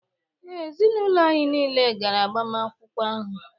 Ee, ezinụlọ anyị nile gara agbamakwụkwọ ahụ